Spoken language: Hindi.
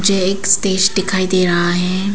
यह एक स्टेज दिखाई दे रहा है।